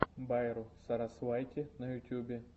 байру сарасвайти на ютюбе